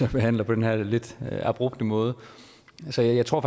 vi behandler på den her lidt abrupte måde så jeg tror